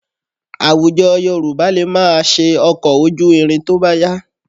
Àwùjọ Yorùbá lè máa ṣe ọkọ̀ ojú irin tó bá yá